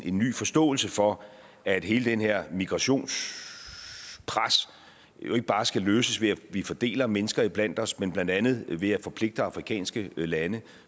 en ny forståelse for at hele det her migrationspres jo ikke bare skal løses ved at vi fordeler mennesker iblandt os men blandt andet ved at forpligte afrikanske lande